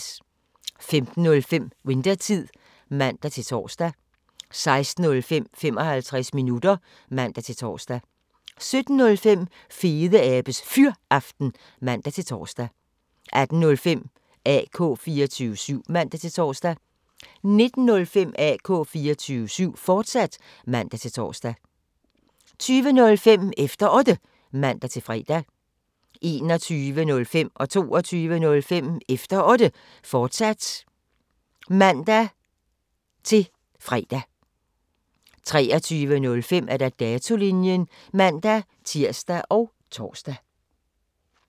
15:05: Winthertid (man-tor) 16:05: 55 minutter (man-tor) 17:05: Fedeabes Fyraften (man-tor) 18:05: AK 24syv (man-tor) 19:05: AK 24syv, fortsat (man-tor) 20:05: Efter Otte (man-fre) 21:05: Efter Otte, fortsat (man-fre) 22:05: Efter Otte, fortsat (man-tir og tor-fre) 23:05: Datolinjen (man-tir og tor)